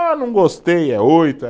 Ah, não gostei, é oito, é